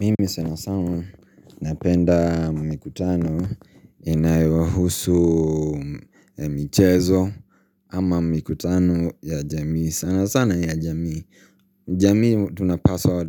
Mimi sanasana napenda mikutano inayowahusu michezo ama mikutano ya jamii. Sana sana ya jamii. Jamii tunapaswa,